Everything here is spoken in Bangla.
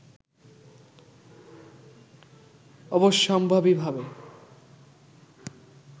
অবশ্যম্ভাবীভাবে